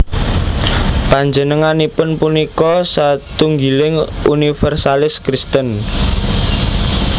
Panjenenganipun punika satunggiling univèrsalis Kristen